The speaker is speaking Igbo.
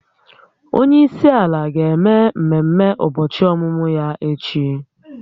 Onye isi ala ga-eme mmemme ụbọchị ọmụmụ ya echi